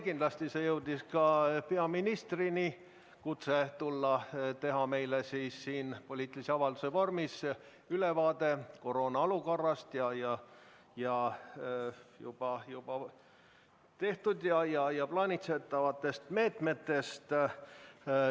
Kindlasti jõudis ka peaministrini kutse Riigikokku tulla ja teha meile poliitilise avalduse vormis ülevaade koroonaolukorrast ning juba rakendatud ja plaanitavatest meetmetest.